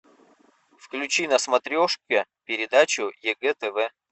включи на смотрешке передачу егэ тв